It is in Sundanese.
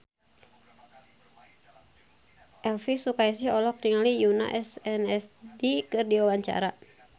Elvy Sukaesih olohok ningali Yoona SNSD keur diwawancara